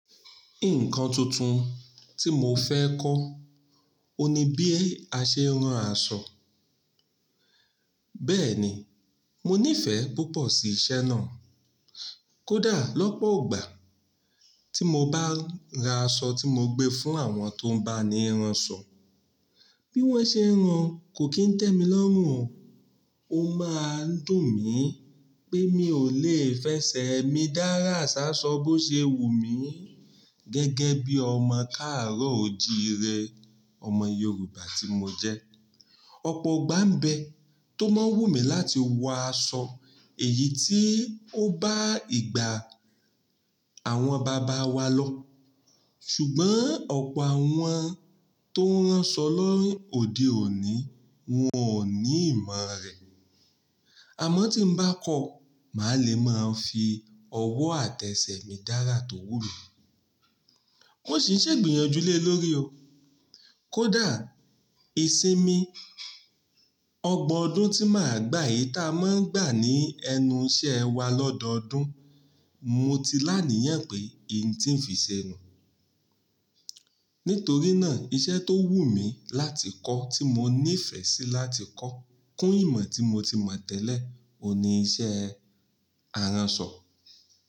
Nǹkan tuntun tí mo fẹ́ kọ́, òní bí a ṣe ń ran aṣọ. Bẹ́ẹ̀ ni, mo nífẹ̀ẹ́ púpọ̀ sí iṣẹ́ náà. Kódà lọ́pọ̀ ọgbà tí mo bá ra aṣọ tí mo gbé fún àwọn tó ń bá mi ránṣọ, bí wọ́n ṣe ń rán kò kí ń tẹ́ mi lọ́run o. Ó máa ń dùn mí pé mi ò lè fẹsẹ̀ mi dára ṣaṣọ bó ṣe wù mí gẹ́gẹ́ bí ọmọ káàró òjìí rẹ, ọmọ Yorùbá tí mo jẹ́. Ọ̀pọ̀ ọgbà ń bẹ tó máa wù mí láti wọ aṣọ èyí tí ó bá ìgbà àwọn bàbá wa lọ. Ṣùgbọ́n ọ̀pọ̀ àwọn tó ń ránṣọ lọ́hìn-òdí òní wọn ò ní ìmọ̀ rẹ̀. Àmọ́ tí ń bá kọ́, màá le máa fi ọwọ́ àtẹsẹ̀ mi dára tó wù mí. Ó sì ń ṣe ìgbìyànjúlé lórí o. Kódà ìsinmi ọgbọ̀n ọdún tí màá gbà yìí táa máa ń gbà ní ẹnu iṣẹ́ wa lọ́dọọdún, mo ti lánìyàn pé èyí tí ń fi ṣẹ nù. Nítorí náà iṣẹ́ tó wù mí láti kọ́ tí mo nífẹ̀ẹ́ sí láti kọ́ kún ìmọ̀ tí mo ti mọ̀ tẹ́lẹ̀, òní iṣẹ́ aransọ.